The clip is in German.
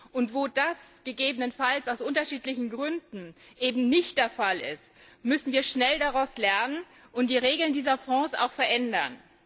Und wo das gegebenenfalls aus unterschiedlichen Gründen nicht der Fall ist, müssen wir schnell daraus lernen und die Regeln dieser Fonds auch abändern.